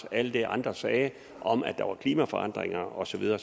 alt det andre sagde om at der var klimaforandringer og så videre